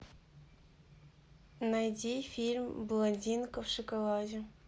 найди фильм блондинка в шоколаде